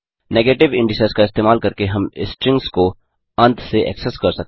negative indices का इस्तेमाल करके हम स्ट्रिंग्स को अंत से एक्सेस कर सकते हैं